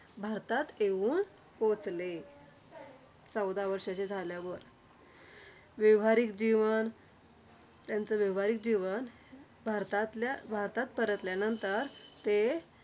भारतात येऊन पोहोचले. चौदा वर्षाचे झाल्यावर. व्यावहारिक जीवन, त्यांचं व्यावहारिक जीवन भारतातल्या भारतात परतल्यानंतर ते